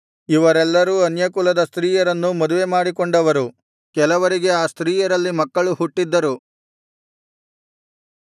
ಇವರೆಲ್ಲರೂ ಅನ್ಯಕುಲದ ಸ್ತ್ರೀಯರನ್ನು ಮದುವೆ ಮಾಡಿಕೊಂಡವರು ಕೆಲವರಿಗೆ ಆ ಸ್ತ್ರೀಯರಲ್ಲಿ ಮಕ್ಕಳು ಹುಟ್ಟಿದ್ದರು